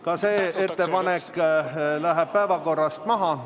Ka see ettepanek läheb päevakorrast maha.